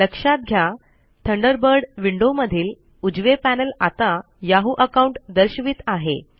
लक्षात घ्या Thunderbird window मधील उजवे पॅनल आता याहू अकाउंट दर्शवित आहे